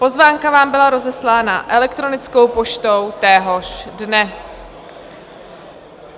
Pozvánka vám byla rozeslána elektronickou poštou téhož dne.